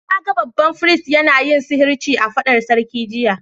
Na gan babban firist yana yin sihirci a'fadar sarki jiya.